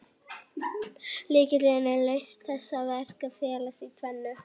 Lykillinn að lausn þessa verkefnis felst í tvennu.